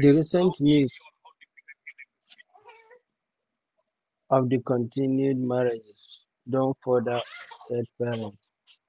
di recent news of di continued "marriages" don further upset parents